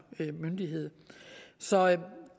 myndighed så